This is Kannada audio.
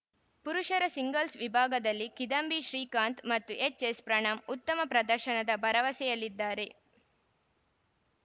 ಪುರುಷರ ಸಿಂಗಲ್ಸ್ ವಿಭಾಗದಲ್ಲಿ ಕಿದಂಭಿ ಶ್ರೀಕಾಂತ್ ಮತ್ತು ಎಚ್ ಯಸ್ ಪ್ರಣಮ್ ಉತ್ತಮ ಪ್ರದರ್ಶನದ ಭರವಸೆಯಲ್ಲಿದ್ದಾರೆ